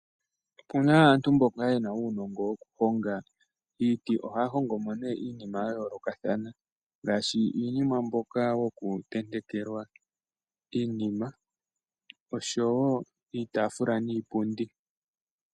Opuna aantu mboka yena uunongo wokuhonga iiti, ohaya hongo mo nee iinima ya yoolokathana, ngaashi uunima mboka wokutentekela iinima, oshowo iitaafula niipundi.